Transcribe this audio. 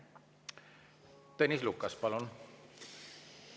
Tõnis Lukas, palun!